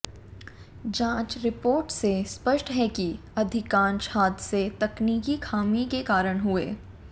जांच रिपोर्ट से स्पष्ट है कि अधिकांश हादसे तकनीकी खामी के कारण हुए